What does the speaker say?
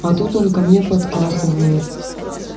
а тут он ко мне подкатывает